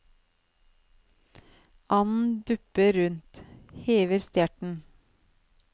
Anden dupper rundt, hever stjerten.